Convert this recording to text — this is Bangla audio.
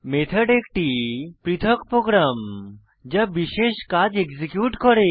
মেথড একটি পৃথক প্রোগ্রাম যা বিশেষ কাজ এক্সিকিউট করে